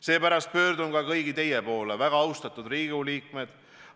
Seepärast pöördun ka kõigi teie poole, väga austatud Riigikogu liikmed.